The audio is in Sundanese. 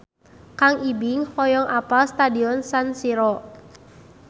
Kang Ibing hoyong apal Stadion San Siro